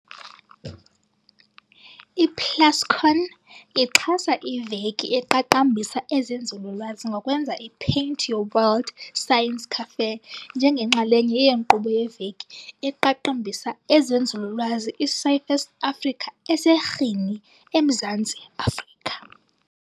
I-Plascon ixhasa iVeki eqaqambisa ezeNzululwazi ngokwenza iPaint Your World Science Café njengenxalenye yenkqubo yeVeki eqaqambisa ezeNzululwazi iScifest Africa eseRhini, eMzantsi Afrika.